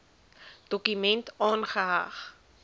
dokument aangeheg